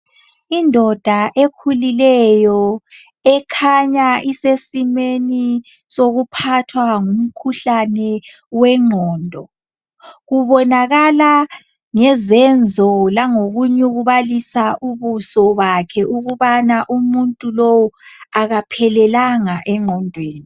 Indoda ekhulileyo, ekhanya isesimweni sokuphathwa ngumkhuhlane wengqondo. Ubonakala ngezenzo langokunyukubalisa ubuso bakhe ukubana umuntu lo akaphelelanga engqondweni.